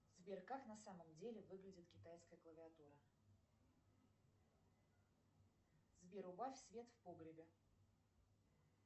сбер как на самом деле выглядит китайская клавиатура сбер убавь свет в погребе